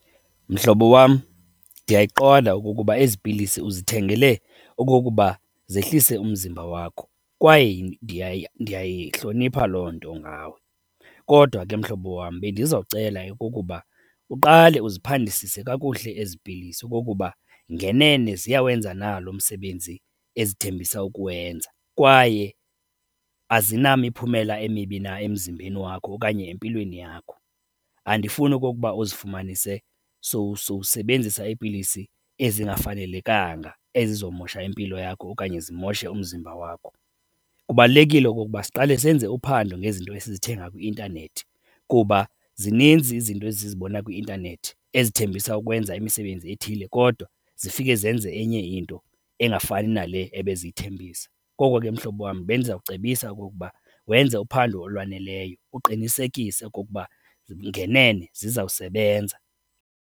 Mhlobo wam, ndiyayiqonda okokuba ezi pilisi uzithengele okokuba zehlise umzimba wakho kwaye ndiyayihlonipha loo nto ngawe. Kodwa ke mhlobo wam bendizocela kukuba uqale uziphandisise kakuhle ezi pilisi okokuba ngenene ziyawenza na lo msebenzi ezithembisa ukuwenza kwaye azinamiphumela emibi na emzimbeni wakho okanye empilweni yakho. Andifuni okokuba uzifumanise sowusebenzisa iipilisi ezingafanelekanga, ezizomosha impilo yakho okanye zimoshe umzimba wakho. Kubalulekile okokuba siqale senze uphando ngezinto esizithenga kwi-intanethi kuba zininzi izinto esizibona kwi-intanethi ezithembisa ukwenza imisebenzi ethile kodwa zifike zenze enye into engafani nale ebeziyithembisa. Koko ke mhlobo wam bendizawucebisa okokuba wenze uphando olwaneleyo uqinisekise okokuba ngenene zizawusebenza.